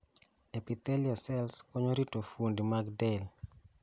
Epithelial cells konyo rito fuondi mag del